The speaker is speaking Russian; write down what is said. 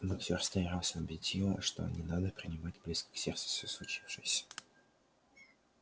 боксёр старался убедить её что не надо принимать близко к сердцу всё случившееся